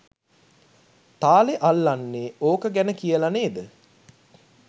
තාලෙ අල්ලන්නෙ ඕක ගැන කියල නේද?